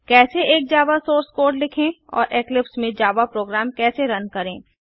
कैसे एक Java source code लिखें और इक्लिप्स में जावा प्रोग्राम कैसे रन करें